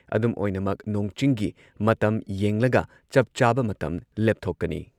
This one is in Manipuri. ꯑꯗꯨꯨꯝ ꯑꯣꯏꯅꯃꯛ ꯅꯣꯡ-ꯆꯤꯡꯒꯤ ꯃꯇꯝ ꯌꯦꯡꯂꯒ ꯆꯞ ꯆꯥꯕ ꯃꯇꯝ ꯂꯦꯞꯊꯣꯛꯀꯅꯤ